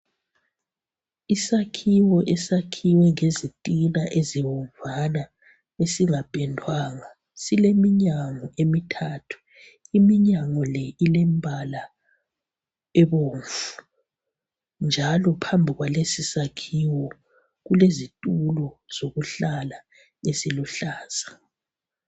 isakhiwo esakhiwe ngezitina ezibomvana esingapendwanga sileminyango emithathu iminyango le ilembala ebomvu njalo phambi kwalesi sakhiwo kulezitulo zokuhlala eziluhlaza